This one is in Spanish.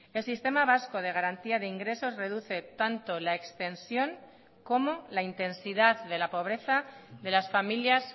el sistema vasco de garantía de ingresos reduce tanto la extensión como la intensidad de la pobreza de las familias